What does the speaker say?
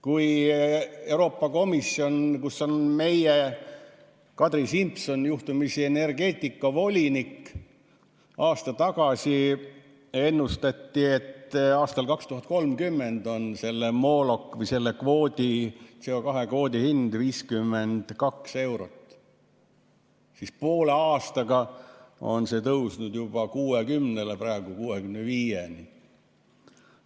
Kui Euroopa Komisjon, kus meie Kadri Simson on juhtumisi energeetikavolinik, aasta tagasi ennustas, et aastal 2030 on selle mooloki või selle kvoodi, CO2 kvoodi hind 52 eurot, siis poole aastaga on see tõusnud juba 60‑le, praegu 65‑le.